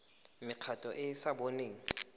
mekgatlho e e sa boneng